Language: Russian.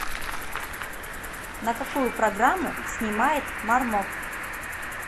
на какую программу снимает мармок